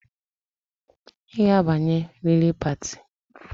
I ga-abanye riri pati